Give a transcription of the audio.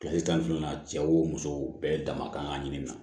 Kilasi tan ni fila cɛ wo musow bɛɛ dama kan ka ɲini na